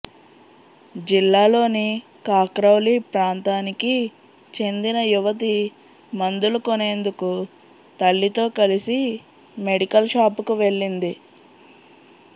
జిల్లాలోని కాక్రౌలీ ప్రాంతానికి చెందిన యువతి మందులు కొనేందుకు తల్లితో కలిసి మెడికల్ షాపుకు వెళ్లింది